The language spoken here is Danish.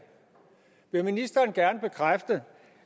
vil ministeren gerne bekræfte